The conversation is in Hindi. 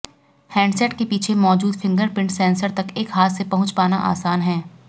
हैंडसेट के पीछे मौजूद फिंगरप्रिंट सेंसर तक एक हाथ से पहुंच पाना आसान है